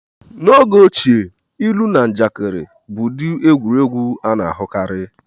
N'oge ochie, ilu na njakịrị bụ ụdị egwuregwu a na-ahụkarị.